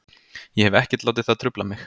Ég hef ekkert látið það trufla mig.